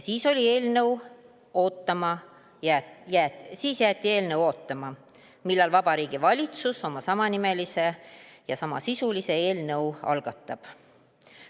Siis jäeti eelnõu ootama, millal Vabariigi Valitsus oma samanimelise ja samasisulise eelnõu algatab.